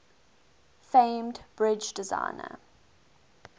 famed bridge designer